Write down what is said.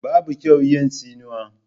Babu kyau yi tsinuwa